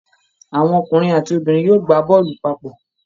Àwọn ọkùnrin àti obìnrin yóò gbá bọ́ọ̀lù papọ